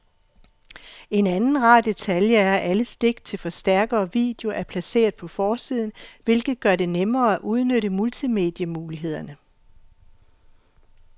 En anden rar detalje er, at alle stik til forstærker og video er placeret på forsiden, hvilket gør det nemmere at udnytte multimedie-mulighederne.